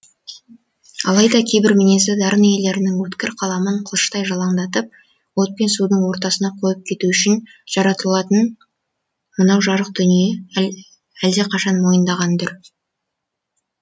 алайда кейбір мінезді дарын иелерінің өткір қаламын қылыштай жалаңдатып от пен судың ортасына қойып кету үшін жаратылатынын мынау жарық дүние әлдеқашан мойындаған дүр